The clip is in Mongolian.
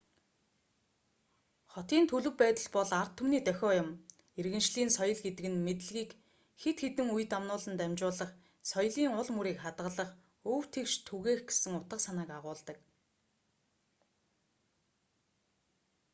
хотын төлөв байдал бол ард түмний дохио юм иргэншлийн соёл гэдэг нь мэдлэгийг хэд хэдэн үе дамнуулан дамжуулах соёлын ул мөрийг хадгалах өв тэгш түгээх гэсэн утга санааг агуулдаг